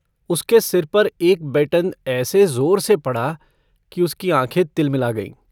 उसके सिर पर एक बेटन ऐसे जोर से पड़ा कि उसकी आखें तिलमिला गईं।